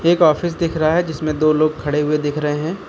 एक ऑफिस दिख रहा है जिसमें दो लोग खड़े हुए दिख रहे हैं।